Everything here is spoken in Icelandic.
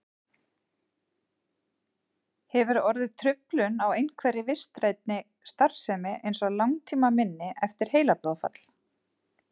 Hefur orðið truflun á einhverri vitrænni starfsemi eins og langtímaminni eftir heilablóðfall?